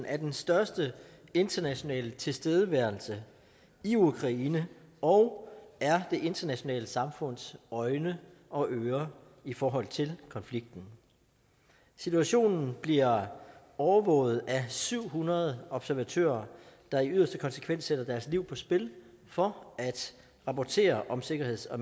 er den største internationale tilstedeværelse i ukraine og er det internationale samfunds øjne og ører i forhold til konflikten situationen bliver overvåget af syv hundrede observatører der i yderste konsekvens sætter deres liv på spil for at rapportere om sikkerheds og